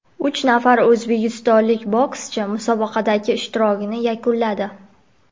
uch nafar o‘zbekistonlik bokschi musobaqadagi ishtirokini yakunladi.